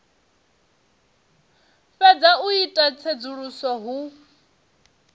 fhedza u ita tsedzuluso hu